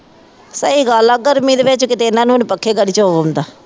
ਸਹੀ ਗੱਲ ਹੈ ਗਰਮੀ ਦੇ ਵਿੱਚ ਕਿਤੇ ਇਹਨਾ ਨੂੰ ਹੁਣ ਪੱਖੇ ਦਾ ਨਹੀਂ ਚਾਅ ਆਉਂਦਾ